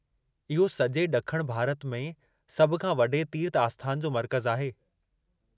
इहो सॼे ॾखण भारत में सभ खां वॾे तीर्थ आस्थान जो मर्कज़ु आहे।